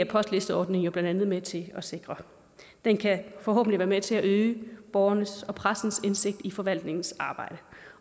postlisteordninger jo blandt andet med til at sikre det kan forhåbentlig være med til at øge borgernes og pressens indsigt i forvaltningens arbejde